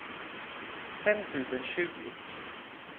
fem tusen tjugo